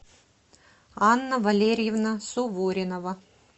анна валерьевна суворинова